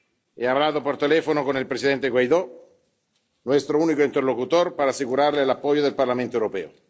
He hablado por teléfono con el presidente Guaidó, nuestro único interlocutor, para asegurarle el apoyo del Parlamento Europeo.